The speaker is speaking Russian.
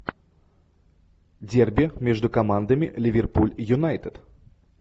дерби между командами ливерпуль и юнайтед